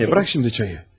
Anne, burax indi çayı.